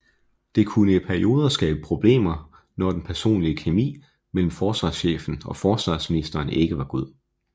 Det kunne i perioder skabe problemer når den personlige kemi mellem forsvarschefen og forsvarsministeren ikke var god